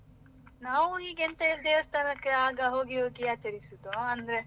ನಾವು ಹೀಗೆ ಎಂತ ಹೇಳಿದ್ರೆ ದೇವಸ್ಥಾನಕ್ಕೆ ಆಗ ಹೋಗಿ ಹೋಗಿ ಆಚರಿಸುವುದು ಅಂದ್ರೆ.